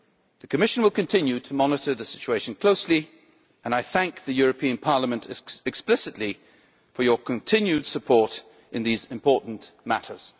The Commission will continue to monitor the situation closely, and I thank the European Parliament explicitly for its continued support in these important matters.